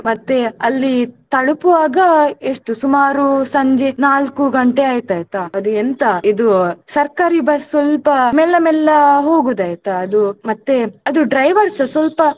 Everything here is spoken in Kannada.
ಮತ್ತೆ ಅಲ್ಲಿ ತಲುಪುವಾಗ ಎಷ್ಟು ಸುಮಾರು ಸಂಜೆ ನಾಲ್ಕು ಗಂಟೆ ಆಯಿತು ಆಯ್ತ ಅದೆಂತ ಇದು ಸರ್ಕಾರಿ bus ಸ್ವಲ್ಪ ಮೆಲ್ಲ ಮೆಲ್ಲ ಹೋಗೋದು ಆಯ್ತ ಅದು ಮತ್ತೆ ಅದು driver ಸ ಸ್ವಲ್ಪ.